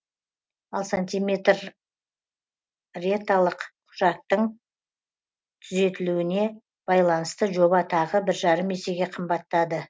ал сантиметреталық құжаттың түзетілуіне байланысты жоба тағы бір жарым есеге қымбаттады